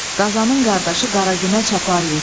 Qazanın qardaşı Qara Günə Çapar yetdi.